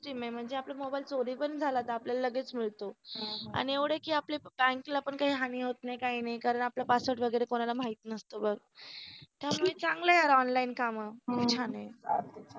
system आहे म्हणजे आपला मोबाईल चोरी पण झाला तर आपल्या लगेच मिळतो आणि एवढ आहे की आपल्या बँकला पण काही हानी होत नाही कारण आपला password वगैरे कोणाला माहित नसतो बघ त्यामुळे चांगला आहे यार online काम किती छान आहे.